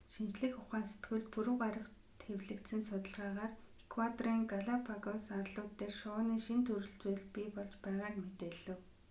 шинжлэх ухаан сэтгүүлд пүрэв гарагт хэвлэгдсэн судалгаагаар эквадорын галапагос арлууд дээр шувууны шинэ төрөл зүйл бий болж байгааг мэдээлэв